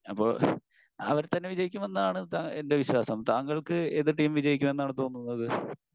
അപ്പൊ അവർതന്നെ വിജയിക്കും എന്നാണ് എൻ്റെ വിശ്വാസം. താങ്കൾക്ക് ഏത് ടീം വിജയിക്കും എന്നാണ് തോന്നുന്നത്?